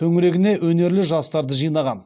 төңірегіне өнерлі жастарды жинаған